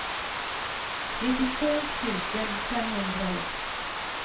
nittiotvå tusen femhundraett